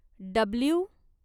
W